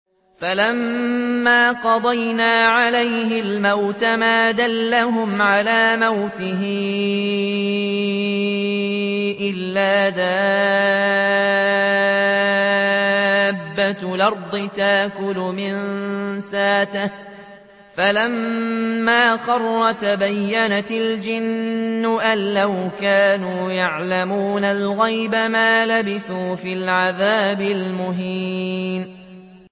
فَلَمَّا قَضَيْنَا عَلَيْهِ الْمَوْتَ مَا دَلَّهُمْ عَلَىٰ مَوْتِهِ إِلَّا دَابَّةُ الْأَرْضِ تَأْكُلُ مِنسَأَتَهُ ۖ فَلَمَّا خَرَّ تَبَيَّنَتِ الْجِنُّ أَن لَّوْ كَانُوا يَعْلَمُونَ الْغَيْبَ مَا لَبِثُوا فِي الْعَذَابِ الْمُهِينِ